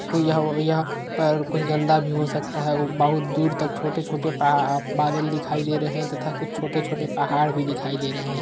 कोई यहाँ यहाँ पर कुछ गंदा भी हो सकता है। बोहोत दूर तक छोटे-छोटे पह बादल दिखाई दे रहे हैं तथा कुछ छोटे-छोटे पहाड़ भी दिखाई दे रहे हैं।